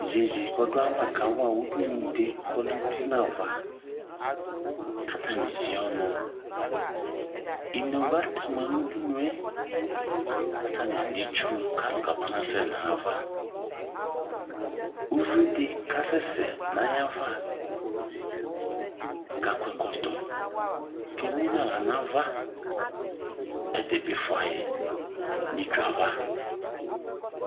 Iyeye kɔdʋ ayava kawa udunu di kʋ ɔlɛ uti nʋ ava kʋ atani evie ɔnʋ Inewlu atema nʋ udunu e kʋ atani alɛ itsu kalʋ kabanasɛ nʋ ayava Uvi di kasɛsɛ nʋ ayava kʋ akɔ ɛkɔtɔ kʋ emu nʋ aɣla nava Ɛdi bi fua yi nʋ itsu yɛ ava